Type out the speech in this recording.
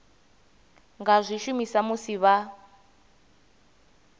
nga zwi shumisa musi vha